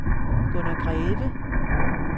Gunnar Greve